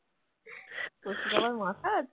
কচুর আবার মাথা আছে?